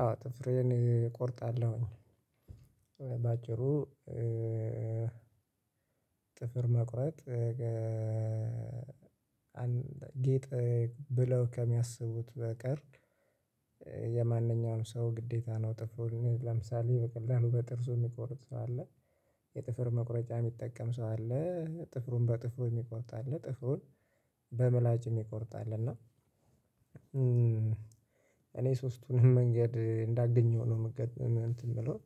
አዎ ጥፍሬን እቆርጣለሁኝ። በአጭሩ ጥፍር መቁረጥ ጌጥ ብለው ከሚያስቡት በቀር የማንኛውም ሰው ግዴታ ነው። ጥፍር ለምሳሌ በቀላሉ በጥርሱ የሚቆርጥ ሰው አለ። የጥፍር መቁረጫ የሚጠቀም ሰው አለ ጥፍሩን በጥፍሩ የሚቆርጥ አለ ጥፍሩን በምላጭ የሚቆርጥ አለ። እና እኔ ሶስቱንም መንገድ እንዳገኘው ነው የምጠቀመው እንትን ብሎን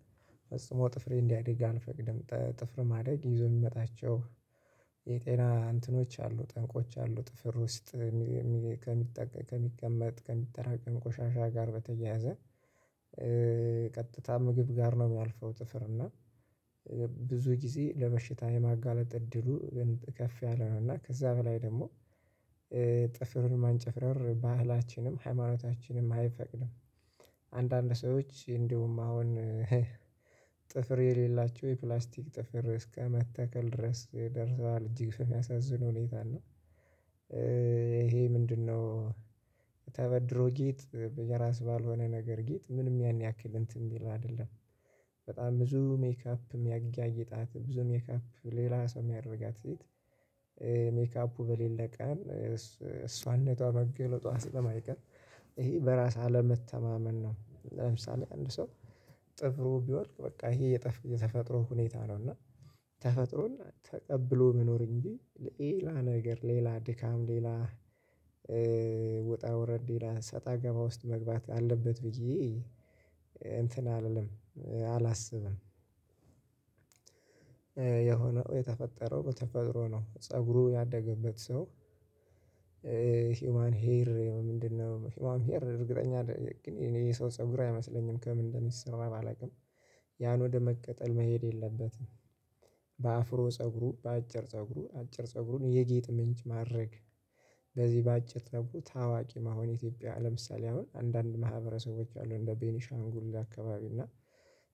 ጥፍሬን እንዲያድግ አልፈቅድም። ጥፍር ማደግ ይዞ የሚመጣቸው የጤና እንትኖች አሉ ጠንቆች አሉ ጥፍር ውስጥ ከሚጠቀም ከሚቀመጥ ከሚጠራቀም ቆሻሻ ጋር በተያያዘ ቀጥታ ምግብ ጋር ነው የሚርልፈው። ጥፍር እና ብዙ ጊዜ ለበሽታ የማጋለጥ እድሉ ግን ከፍ ያለ ነው እና ከዛ በላይ ደግሞ ጥፍሩን ማንጨፍረር ባህላችንም ሃይማኖታችንም አይፈቅድም። አንዳንድ ሰዎች እንዲሁም አሁን ጥፍር የሌላቸው የፕላስቲክ ጥፍር እስከማስተከል ድረስ ደርሰዋል እጅግ ነው የሚያሳዝን ሁኔታ ነው። ይሄ ምንድነው? ተበድሮ ጌጥ በራስ ባልሆነ ነገር ጌጥ ምንም ያን ያክል እንትን የሚል አይደለም። በጣም ብዙ ሜካፕም ያጋለጣትም ብዙ ሜካፕ ሌላ ሰው የሚያደርጋት ሴት ሜካፑ በሌለ ቀን እሷን ነጥቷ መገለጧ ስለማይቀር ይሄ በራስ አለመተማመን ነው። ለምሳሌ አንድ ሰው ጥፍሩ ቢወድቅ በቃ ይሄ የተፈጥሮ ሁኔታ ነው። እና ተፈጥሮን ተቀብሎ መኖር እንጂ ሌላ ነገር ሌላ ድካም ሌላ ወጣ ወረድ ሌላ ሰጣ ገባ ውስጥ መግባት አለበት ብዬ እንትን አልልም አላስብም። የሆነው የተፈጠረው በተፈጥሮ ነው ፀጉሩ ያደገበት ሰው ሂውማን ሄር ምንድነው? ሂውማን ሄር እርግጠኛ አደለውም የሰው ፀጉር አይመስለኝም ከምን እንደሚሰራ አላውቅም። ያን ወደ መጠቀም መሄድ የለበትም በአፍሮ ፀጉሩ በአጭር ፀጉሩ አጭር ፀጉሩን የጌጥ ምንጭ ማድረግ። በዚህ በአጭር ተብሎ ታዋቂ መሆን የኢትዮጵያ ለምሳሌ አሁን አንዳንድ ማህበረሰቦች አሉ እንደ ቤኒሻንጉል አካባቢ እና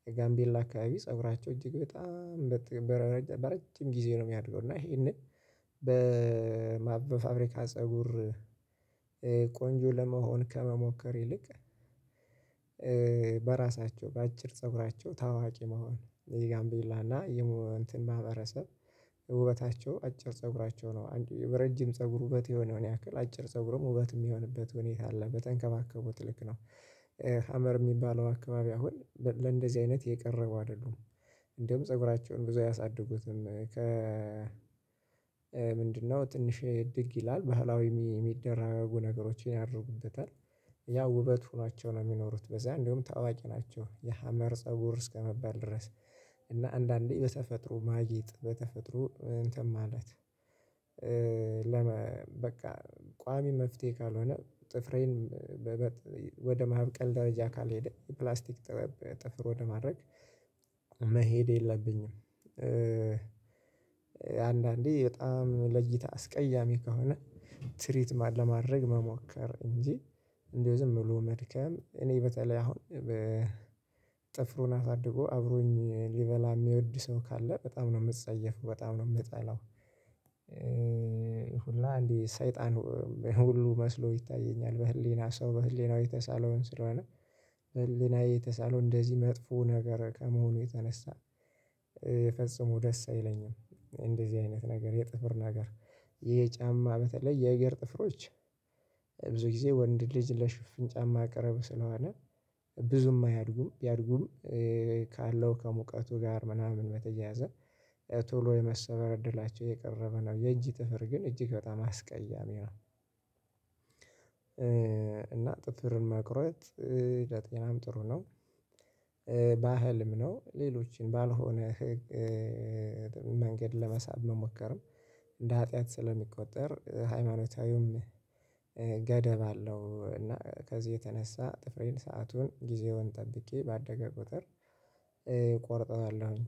የጋምቤላ አካባቢ ፀጉራቸው እጅግ በጣም ረጅም በረጅም ጊዜ ነው የሚያድገው። እና ይሄንን በፋብሪካ ፀጉር ቆንጆ ለመሆን ከመሞከር ይልቅ በራሳቸው በአጭር ፀጉራቸው ታዋቂ መሆን የጋምቤላ እና የማህበረሰብ ውበታቸው አጭር ፀጉራቸው ነው አንድ በረጅም ፀጉር ውበት የሆነውን ያክል አጭር ፀጉርም ውበት የሚሆንበት ሁኔታ አለ በተንከባከቡት ልክ ነው። ሀመር የሚባለው አካባቢ አሁን ለእንደዚህ አይነት የቀረበ አይደሉም። እንደውም ፀጉራቸውን ብዙ አያሳድጉትን ከ ምንድነው ትንሽ እድግ ይላል። ባህላዊ የተለያየ ነገሮችን ያደርጉበታል ያ ውበት ሆናቸው ነው የሚኖሩት በዛ እንደውም ታዋቂ ናቸው የሀመር ፀጉር እስከመባል ድረስ። እና አንዳንዴ በተፈጥሮ ማጌጥ በተፈጥሮ እንትን ማለት ለመ በቃ ቋሚ መፍትሄ ካልሆነ ጥፍሬን ወደ ማብቀል ደረጃ ካልሄደ ፕላስቲክ ጥፍር ወደ ማድረግ መሄድ የለብኝም። አንዳንዴ በጣም ለእይታ አስቀያሚ ከሆነ ስሪት ለማድረግ መሞከር እንጂ እንደው ዝም ብሎ መድከም እኔ በተለይ አሁን ጥፍሩን አሳድጎ አብሮኝ ሊበላ የሚወድ ሰው ካለ በጣም ነው የምጸየፈው በጣም ነው የምጠላው። ሁላ እንዴ ሰይጣን ሁሉ መስሎ ይታየኛል በህሊና ሰው በህሊናው የተሳለውን ስለሆነ ህሊናዬ የተሳለው እንደዚህ መጥፎ ነገር ከመሆኑ የተነሳ የፈጽሞ ደስ አይለኝም። እንደዚህ አይነት ነገር የጥፍር ነገር ይሄ ጫማ በተለይ የእግር ጥፍሮች ብዙ ጊዜ ወንድ ልጅ ለሽፍን ጫማ ቅርብ ስለሆነ ብዙም አያድጉም ቢያድጉም ካለው ከሙቀቱ ጋር ምናምን በተያያዘ ቶሎ የመሰበር እድላቸው የቀረበ ነው የእጅ ጥፍር ግን እጅግ በጣም አስቀያሚ ነው። እና ጥፍርን መቁረጥ ለጤናም ጥሩ ነው። ባህልም ነው ሌሎችን ባልሆነ መንገድ ለመሳብ መሞከርም እንደ ሀጥያት ስለሚቆጠር ሃይማኖታዊውም ገደብ አለው። እና ከዚህ የተነሳ ጥፍሬን ሰአቱን ጊዜውን ጠብቄ ባደገ ቁጥር እቆርጠዋለሁኝ